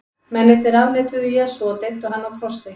Mennirnir afneituðu Jesú og deyddu hann á krossi.